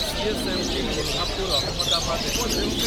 CSMT. Kolhapur Ahmedabad express